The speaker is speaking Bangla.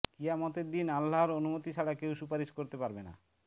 কিয়ামতের দিন আল্লাহর অনুমতি ছাড়া কেউ সুপারিশ করতে পারবে না